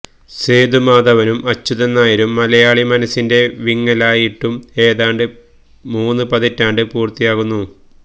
സേതുമാധവനും അച്യുതൻ നായരും മലയാളി മനസിന്റെ വിങ്ങലായിട്ടു ഏതാണ്ട് മൂന്ന് പതിറ്റാണ്ട് പുർത്തിയാവുന്നു